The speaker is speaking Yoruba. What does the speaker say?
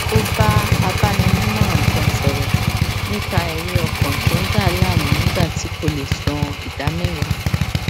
ó bá agbaninímòràn kan sòrò nípa èrí ọkàn tó ń dà á láàmú nígbà tí kò lè san ìdáméwàá